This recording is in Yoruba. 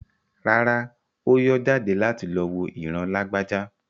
Rárá, Ó yọ́ jáde láti lọ wo ìran Lágbájá.